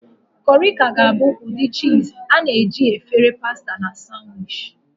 Corrie ka ga-abụ ụdị cheese a na-eji na efere pasta na sanwichi.